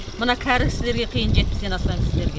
мына кәрі кісілерге қиын жетпістен асқан кісілерге